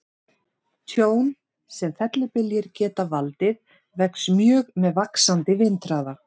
Tjón sem fellibyljir geta valdið vex mjög með vaxandi vindhraða.